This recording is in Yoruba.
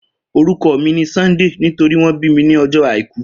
Oruko mi ni Sunday nitori won bi mi ni ojo Aiku